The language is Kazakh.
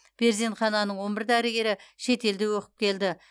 перзенхананың он бір дәрігері шетелде оқып келді